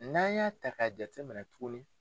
N'an y'a ta k'a jate minɛ tuguni.